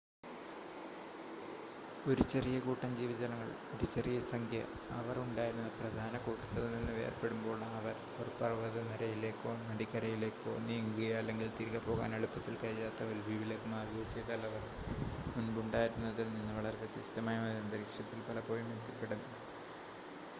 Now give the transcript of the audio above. ഒരു ചെറിയ കൂട്ടം ജീവജാലങ്ങൾ ഒരു ചെറിയ സംഖ്യ അവർ ഉണ്ടായിരുന്ന പ്രധാന കൂട്ടത്തിൽ നിന്ന് വേർപ്പെടുമ്പോൾ അവർ ഒരു പർവ്വതനിരയിലേക്കോ നദിക്കരയിലേക്കോ നീങ്ങുകയോ അല്ലെങ്കിൽ തിരികെ പോകാൻ എളുപ്പത്തിൽ കഴിയാത്ത ഒരു ദ്വീപിലേക്ക്‌ മാറുകയോ ചെയ്‌താൽ അവർ മുൻപുണ്ടായിരുന്നതിൽ നിന്ന് വളരെ വ്യത്യസ്തമായ ഒരു അന്തരീക്ഷത്തിൽ പലപ്പോഴും എത്തിപ്പെടും